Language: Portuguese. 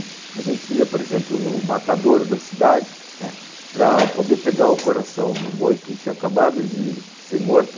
A gente ia, por exemplo, no matador da cidade, né, para poder pegar o coração do boi que tinha acabado de ser morto.